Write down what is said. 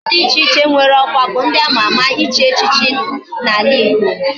Ndi di iche iche nwere okwa bu ndi ama ama ichi echichi na ala igbo